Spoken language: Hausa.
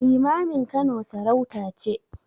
Limamin Kano sarauta ce.